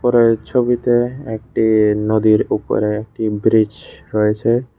উপরের ছবিতে একটি নদীর ওপরে একটি ব্রীজ রয়েছে।